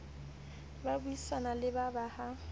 ba buisane le ba ha